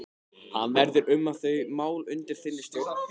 Hvað verður um þau mál undir þinni stjórn?